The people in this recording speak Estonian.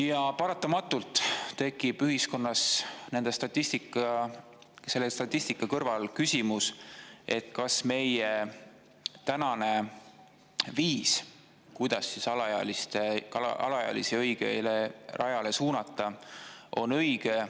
Ja paratamatult tekib ühiskonnas selle statistika kõrval küsimus: kas meie tänane viis, kuidas alaealisi õigele rajale suunata, on õige?